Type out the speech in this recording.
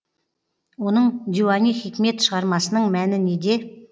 оның диуани хикмет шығармасының мәні неде